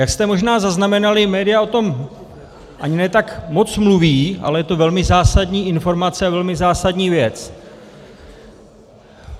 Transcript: Jak jste možná zaznamenali, média o tom ani ne tak moc mluví, ale je to velmi zásadní informace a velmi zásadní věc.